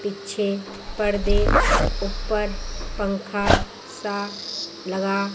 पीछे पर्दे ऊपर पंखा सा लगा--